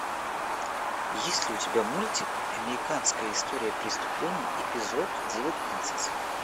есть ли у тебя мультик американская история преступлений эпизод девятнадцать